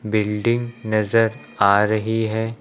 Building नजर आ रही है।